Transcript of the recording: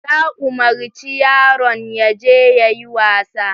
Ta umarci yaron yaje yayi wasa.